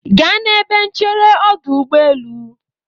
Gaa n'ebe nchere ọdụ ụgbọelu